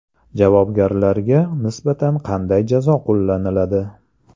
Javobgarlarga nisbatan qanday jazo qo‘llaniladi?.